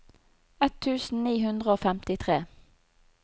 ett tusen ni hundre og femtitre